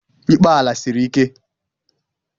Ikpe ala siri ike.